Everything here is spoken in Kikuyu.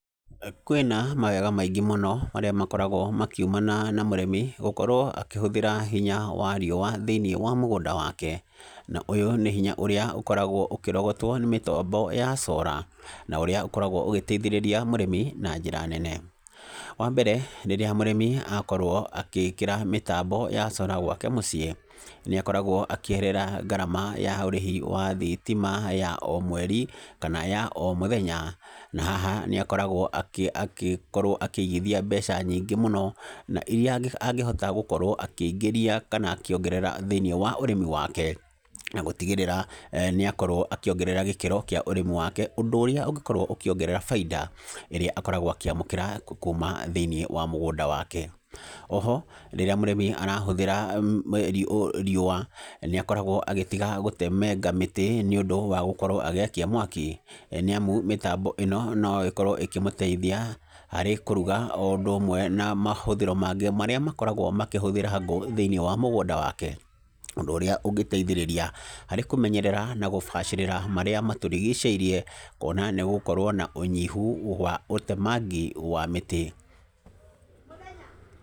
Kwĩna mawega maingĩ mũno marĩa makoragwo makiumana na mũrĩmi gũkorwo akĩhíũthĩra hinya wa riũwa, thĩinĩ wa mũgũnda wake, na ũyũ nĩ hinya ũrĩa ũkoragwo ũkĩrogotwo nĩ mĩtambo ya cora, na ũrĩa ũkoragwo ũgĩteithĩrĩria mũrĩmi na njĩra nene, wa mbere, rĩrĩa mũrĩmi akorwo akĩkĩra mĩtambo ya cora gwake mũciĩ, nĩ akoragwo akĩeherera ngarama ya ũrĩhi wa thitima ya o mweri, kana ya o mũthenya, na haha nĩ akoragwo akĩ akĩkorwo akĩgithia mbeca nyingĩ mũno, na iria angĩ angĩhota agĩkorwo akĩingĩria kana akĩongerera thĩinĩ wa ũrĩmi wake, na gũtigĩrĩra eeh nĩ akorwo akĩongerera gĩkĩro kĩa ũrĩmi wake ũndũ ũrĩa ũngĩkorwo ũkĩongerera bainda ĩrĩa akorwo akĩamũkĩra kuuma thĩinĩ wa mũgũnda wake, oho, rĩrĩa mũrĩmi arahũthĩra ri riũwa, nĩ akoragwo agĩtiga gũtemenga mĩti nĩ ũndũ wa gũkorwo agĩakia mwaki, nĩamu mĩtambo ĩno no ĩkorwo ĩkĩmũteithia harĩ kũruga o ũndũ ũmwe na mahũthĩro mangĩ marĩa makoragwo makĩhũthĩra ngũ thĩinĩ wa mũoigũnda wake, ũndũ ũrĩa ũngĩteithĩrĩria harĩ kũmenyerera, na gũbacĩrĩrra marĩa matũrigicĩirie, kuona nĩ gũgũkorwo na ũnyihu wa ũtemangi wa mĩtĩ.